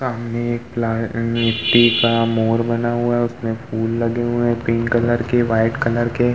सामने एक लाल मिटटी का मोर बना हुआ है उसमें फूल लगे हुए हैं पिंक कलर के वाइट कलर के।